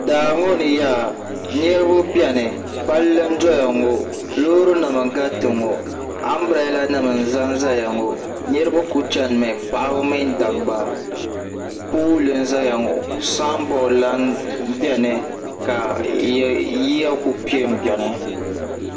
daa ŋɔ ni yaa niriba beni palli n doya ŋɔ loorinima n gariti ŋɔ ambirɛɛlanima n za n-zaya ŋɔ niriba ku chanimi paɣaba mini dabba polli n zaya ŋɔ samboori lahi beni ka yiya ku pe m-beni